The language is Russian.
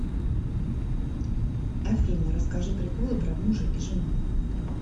афина расскажи приколы про мужа и жену